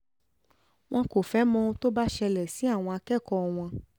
wọn kò fẹ́ẹ́ mọ ohun tó bá ṣẹlẹ̀ sí àwọn akẹ́kọ̀ọ́ wọn